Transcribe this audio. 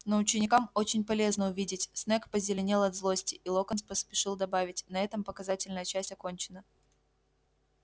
но ученикам очень полезно увидеть снегг позеленел от злости и локонс поспешил добавить на этом показательная часть окончена